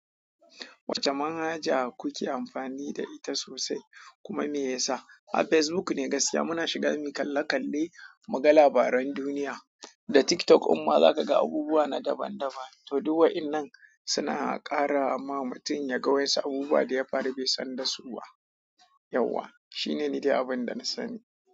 Wacce manhaja kuke amfani da ita sosai kuma me yasa? A Facebook ne gaskiya muna shiga mu kalle kalle muga labaran duniya. Da TikTok kuma za ka ga abubuwa na daban daban. To duk waɗannan suna kara ma mutum yaga wasu abubuwan da ya fara bai san dasu ba. Yauwa shine ni dai abin da na sani.